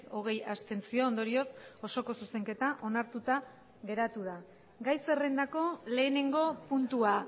hogei abstentzio ondorioz osoko zuzenketa onartuta geratu da gai zerrendako lehenengo puntua